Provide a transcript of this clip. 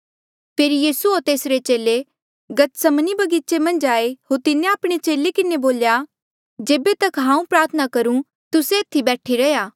फेरी यीसू होर चेले गतसमनी बगीचे मन्झ आये होर तिन्हें आपणे चेले किन्हें बोल्या जेबे तक हांऊँ प्रार्थना करूं तुस्से एथी बैठी रैहया